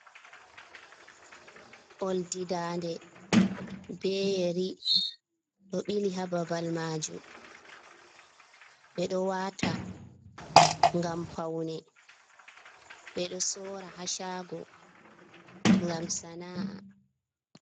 Oldi daande be yeri ɗo ɓili ha babal majum. Ɓeɗo wata ngam paune, ɓeɗo sora ha shago ngam sana'a.